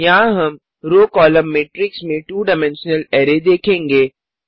यहाँ हम row column मैट्रिक्समें 2 डाइमेंशनल अरै देखेंगे